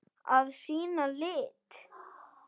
Að sýna lit.